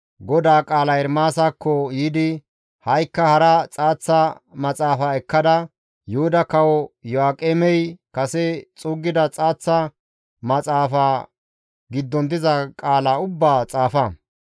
«Ha7ikka hara xaaththa maxaafa ekkada Yuhuda Kawo Iyo7aaqemey kase xuuggida xaaththa maxaafa giddon diza qaala ubbaa xaafa.